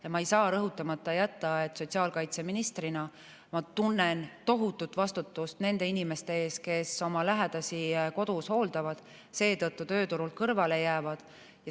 Ja ma ei saa rõhutamata jätta, et sotsiaalkaitseministrina ma tunnen tohutut vastutust nende inimeste ees, kes oma lähedasi kodus hooldavad ja seetõttu tööturult kõrvale jäävad.